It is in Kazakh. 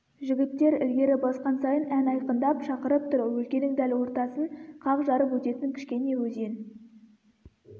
жігіттер ілгері басқан сайын ән айқындап шақырып тұр өлкенің дәл ортасын қақ жарып өтетін кішкене өзен